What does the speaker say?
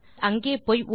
நீங்கள் அங்கே போய்